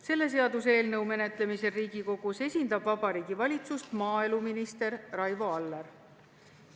Selle seaduseelnõu menetlemisel Riigikogus esindab Vabariigi Valitsust maaeluminister Raivo Aller.